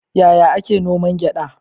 Yaya ake noman gyaɗa?